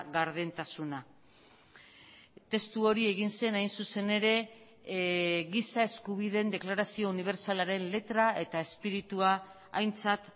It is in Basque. gardentasuna testu hori egin zen hain zuzen ere giza eskubideen deklarazio unibertsalaren letra eta espiritua aintzat